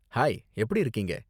Hi, எப்படி இருக்கீங்க?